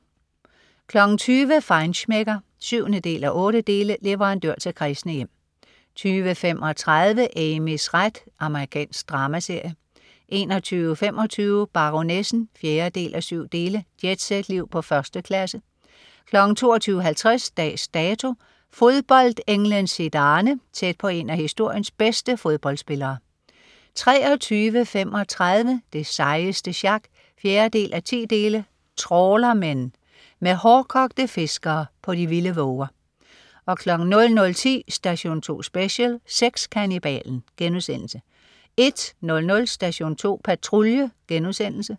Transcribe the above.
20.00 Feinschmecker 7:8. Leverandør til kræsne hjem 20.35 Amys ret. Amerikansk dramaserie 21.25 Baronessen 4:7. Jetset-liv på 1. klasse 22.50 Dags Dato : Fodboldenglen Zidane. Tæt på en af historiens bedste fodboldspillere 23.35 Det sejeste sjak 4:10. Trawlermen. Med hårdkogte fiskere på de vilde våger 00.10 Station 2 Special : Sexkannibalen* 01.00 Station 2 Patrulje*